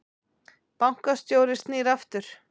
Bankastjóri snýr aftur